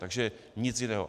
Takže nic jiného.